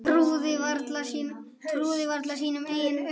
Trúði varla sínum eigin eyrum.